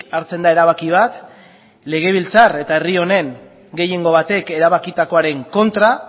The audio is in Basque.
hartzen da erabaki bat legebiltzar eta herri honen gehiengo batek erabakitakoaren kontra